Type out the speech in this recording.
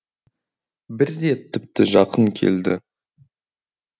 бір рет тіпті жақын келді